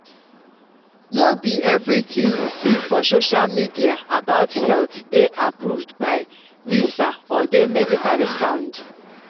no be everything you see for social media about health dey approved by lisa or dey medically sound.